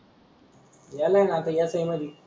येतोय ना आता येतोय मधी.